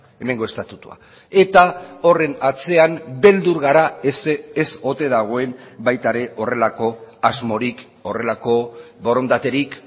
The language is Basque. hemengo estatutua eta horren atzean beldur gara ez ote dagoen baita ere horrelako asmorik horrelako borondaterik